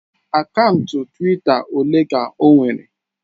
Akaụntụ Twitter ole ka o nwere?